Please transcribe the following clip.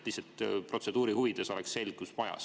Lihtsalt et protseduuri huvides oleks selgus majas.